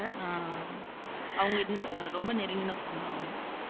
ஆஹ் அவங்களுக்கு ஆஹ் ரொம்ப நெருங்கின சொந்தம் அவங்க